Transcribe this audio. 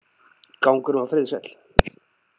Gangurinn var friðsæll.